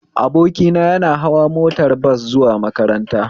Abokina ya na hawa motar bas zuwa makaranta